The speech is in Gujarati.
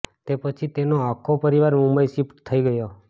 તે પછી તેનો આખો પરિવાર મુંબઇ શિફ્ટ થઈ ગયો